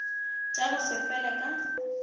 tša go se fele ka